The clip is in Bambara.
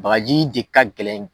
Bagaji de ka gɛlɛn